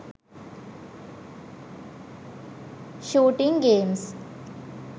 shooting games